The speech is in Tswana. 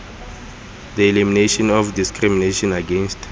the elimination of discrimination against